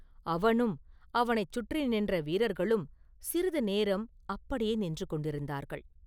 அவனும் அவனைச் சுற்றி நின்ற வீரர்களும் சிறிது நேரம் அப்படியே நின்று கொண்டிருந்தார்கள்.